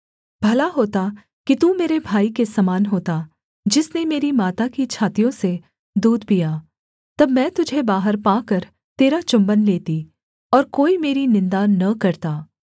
भला होता कि तू मेरे भाई के समान होता जिसने मेरी माता की छातियों से दूध पिया तब मैं तुझे बाहर पाकर तेरा चुम्बन लेती और कोई मेरी निन्दा न करता